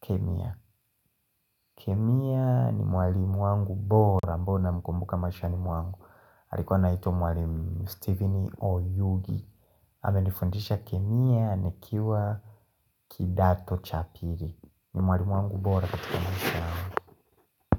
Kemia kemia ni mwalimu wangu bora ambayo namkumbuka maishani mwangu. Alikuwa anaitwa mwalimu Stephen Oyugi. Amenifundisha kemia nikiwa kidato cha pili. Ni mwalimu wangu bora katika maisha yangu.